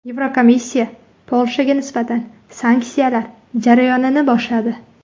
Yevrokomissiya Polshaga nisbatan sanksiyalar jarayonini boshladi.